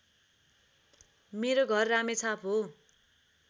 मेरो घर रामेछाप हो